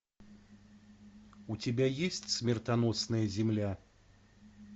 у тебя есть смертоносная земля